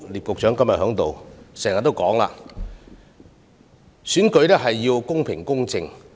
局長今天在席，他經常強調要確保選舉公平公正。